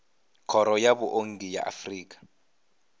khoro ya vhuongi ya afrika